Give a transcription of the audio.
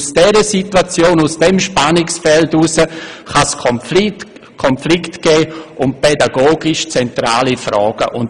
In diesem Spannungsfeld kann es Konflikte um pädagogisch zentrale Fragen geben.